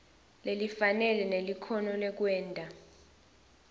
lelifanele nelikhono lekwenta